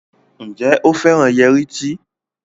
Njé o féràn Yẹrí tí?